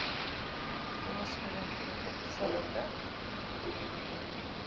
kennisgewing ten opsigte